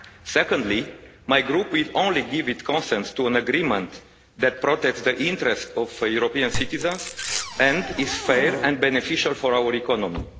Secondly, my Group will only give its consent to an agreement that protects the interests of European citizens, and is fair and beneficial to our economy.